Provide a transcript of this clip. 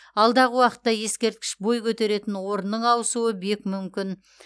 алдағы уақытта ескерткіш бой көтеретін орынның ауысуы бек мүмкін